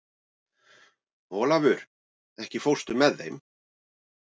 Olavur, ekki fórstu með þeim?